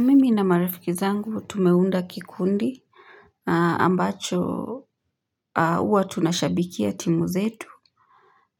Mimi na marifiki zangu tumeunda kikundi ambacho huwa tunashabikia timu zetu.